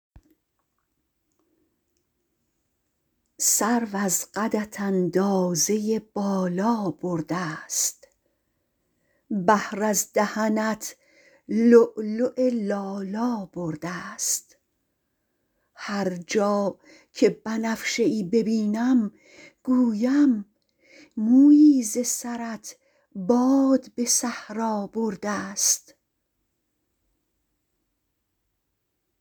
سرو از قدت اندازه بالا بردست بحر از دهنت لؤلؤ لالا بردست هر جا که بنفشه ای ببینم گویم مویی ز سرت باد به صحرا بردست